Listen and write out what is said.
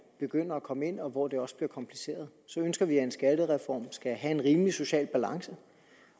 begynder at komme ind og hvor det også bliver kompliceret ønsker vi at en skattereform skal have en rimelig social balance